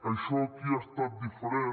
això aquí ha estat diferent